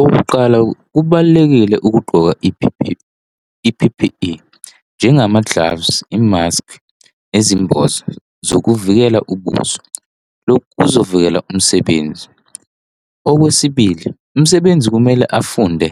Okokuqala kubalulekile ukugqoka i-P_P_E njengama-gloves imask ezimboza zokuvikela ubuso, lokhu kuzovikela umsebenzi, okwesibili, umsebenzi kumele afunde